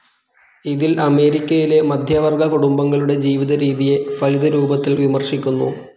ഇതിൽ അമേരിക്കയിലെ മധ്യവർഗ്ഗ കുടുംബങ്ങളുടെ ജീവിതരീതിയെ ഫലിതരൂപത്തിൽ വിമർശിക്കുന്നു.